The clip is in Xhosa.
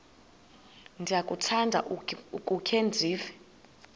ndiyakuthanda ukukhe ndive